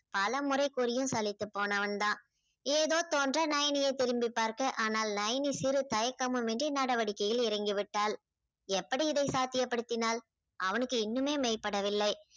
பல முறை கூறியும் சளித்துப்போனவன் தான். ஏதோ தோன்ற நயனி திரும்பி பார்க்க ஆனால் நயனி சிறு தயக்கமுமின்றி நடவடிக்கையில் இறங்கிவிட்டாள். எப்படி இதை சாத்தியப்படுத்தினாள்? அவனுக்கு இன்னுமே மெய்ப்படவில்லை.